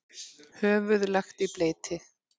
Höfuð lagt í bleyti.